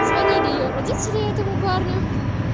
звонили её родители этому парню